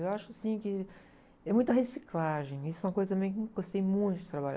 Eu acho, assim, que é muita reciclagem, isso é uma coisa meio que, eu gostei muito de trabalhar.